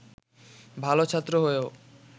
ভালো ছাত্র হয়েও